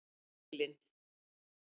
Evelyn